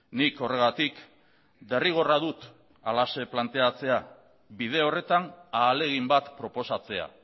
nik horregatik derrigorra dut halaxe planteatzea bide horretan ahalegin bat proposatzea